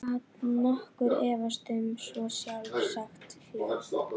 Gat nokkur efast um svo sjálfsagðan hlut?